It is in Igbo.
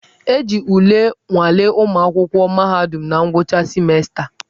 E ji ule nwalee ụmụ akwụkwọ mahadum na ngwụcha simensta.